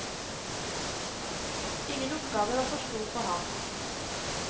Ingen oppgave var for stor for ham.